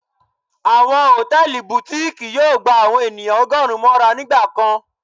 Awọn hòtẹ́ẹ̀lì Butikii yóò gbá àwọn ènìyàn ọgọrùn móra nígbà kán.